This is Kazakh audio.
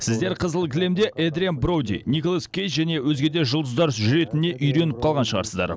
сіздер қызыл кілемде эдриан броуди николас кейдж және өзге де жұлдыздар жүретініне үйреніп қалған шығарсыздар